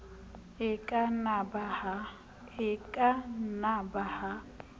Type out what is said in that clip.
e ka na ba ha